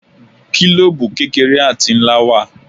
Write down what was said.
Gílòòbù kékeré àti ńlá ló wà.